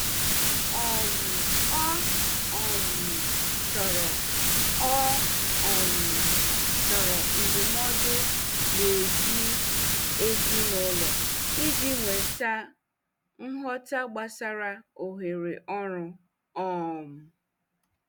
um Ọ um chọrọ Ọ um chọrọ ndụmọdụ n'èzí ezinụlọ iji nweta nghọta gbasara ohere ọrụ. um